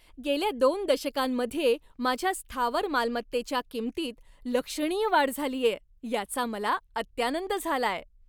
गेल्या दोन दशकांमध्ये माझ्या स्थावर मालमत्तेच्या किंमतीत लक्षणीय वाढ झालीये याचा मला अत्यानंद झालाय.